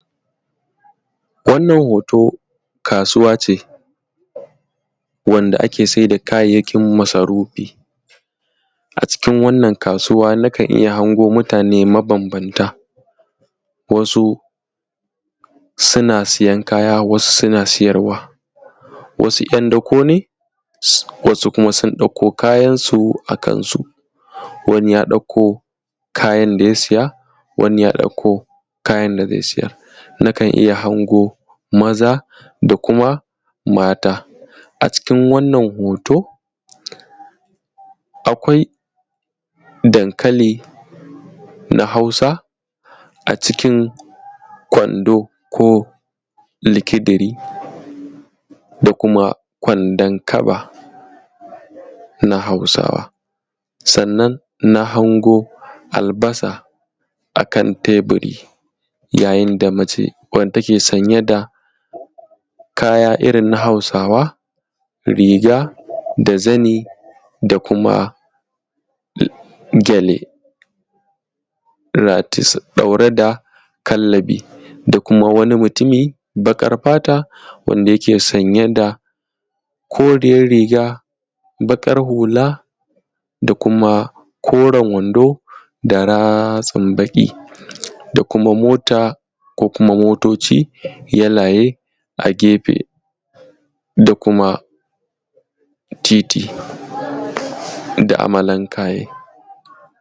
Wannan hoto kasuwa ce wanda ake saida kayayyakin masarufi. Acikin wannan kasuwa nakan iya hango mutane mabambanta, wasu suna siyan kaya, wasu suna siyarwa, wasu ‘yan dako ne, wasu kuma sun ɗauko kayansu a kan su, wani ya ɗauko kayan da zai siya, wani ya ɗauko kayan da zai siyar, nakan iya hango maza da kuma mata. Acikin wannan hoto akwai dankali na hausa acikin kwando ko likidiri da kuma kwandon kaba na Hausawa, sannan na hango albasa akan teburi, yayin da mace wanda take sanye da kaya irin na Hausawa riga da zani da kuma gyale, ratis, ɗaure da kallabi, da kuma wani mutumi baƙar fata wanda yake sanye da koriyar riga, baƙar hula da kuma koren wando da ratsin baƙi, da kuma mota ko kuma motoci yalaye a gefe da kuma titi da amalankaye.